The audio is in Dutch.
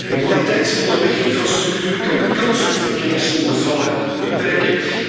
Een kwaliteitsvolle weginfrastructuur kan de kans op verkeersongevallen beperken.